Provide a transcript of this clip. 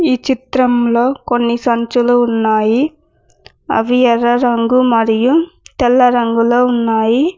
ఈ చిత్రంలో కొన్ని సంచులు ఉన్నాయి అవి ఎర్ర రంగు మరియు తెల్ల రంగులో ఉన్నాయి.